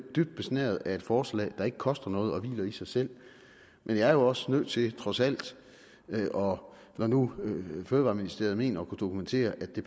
dybt besnæret af et forslag der ikke koster noget og som hviler i sig selv men jeg er jo også nødt til trods alt når nu fødevareministeriet mener at kunne dokumentere at det